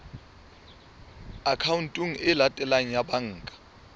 akhaonteng e latelang ya banka